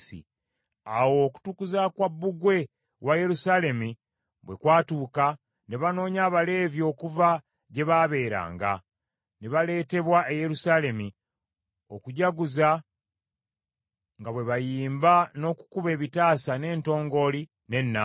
Awo okutukuza kwa bbugwe wa Yerusaalemi bwe kwatuuka, ne banoonya Abaleevi okuva gye baabeeranga, ne baleetebwa e Yerusaalemi okujaguza nga bwe bayimba n’okukuba ebitaasa n’entongooli n’ennanga.